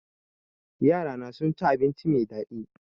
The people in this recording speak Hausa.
Yarana sun ci abinci mai daɗi